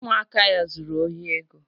Ụmụaka ya zuru ohi ego